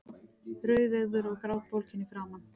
Rauðeygður og grátbólginn í framan.